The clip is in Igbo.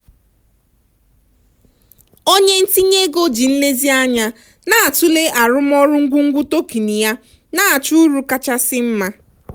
onye ntinye ego ji nlezianya na-atụle arụmọrụ ngwungwu token ya na-achọ uru kachasị mma.